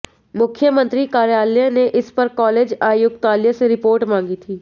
मुख्यमंत्री कार्यालय ने इस पर कॉलेज आयुक्तालय से रिपोर्ट मांगी थी